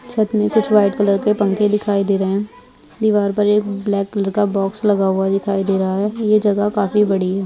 छत मे कुछ वाइट कलर के पंखे दिखाई दे रहे हैं | दीवार पर एक ब्लैक कलर का बॉक्स लगा हुआ दिखाई दे रहा है | ये जगह काफी बड़ी है |